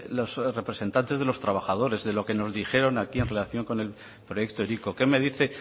los representantes de los trabajadores de los que nos dijeron aquí en relación con el proyecto hiriko qué me dice